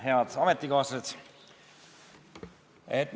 Head ametikaaslased!